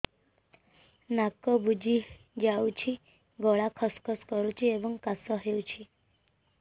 ନାକ ବୁଜି ଯାଉଛି ଗଳା ଖସ ଖସ କରୁଛି ଏବଂ କାଶ ହେଉଛି